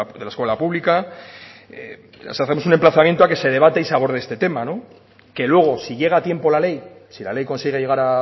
de la escuela pública hacemos un emplazamiento a que se debata y se aborde este tema que luego si llega a tiempo la ley si la ley consigue llegar